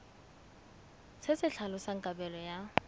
se se tlhalosang kabelo ya